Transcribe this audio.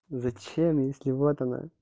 зачем если вот она